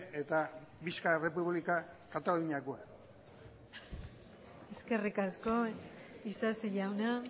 eta visca errepublika kataluniakoa eskerrik asko isasi jauna